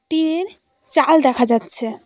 Tin -এর চাল দেখা যাচ্ছে।